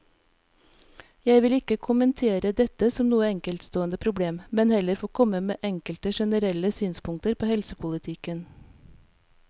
Jeg vil ikke kommentere dette som noe enkeltstående problem, men heller få komme med enkelte generelle synspunkter på helsepolitikken.